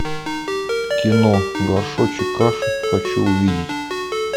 кино горшочек каши хочу увидеть